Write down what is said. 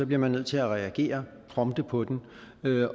bliver man nødt til at reagere prompte på den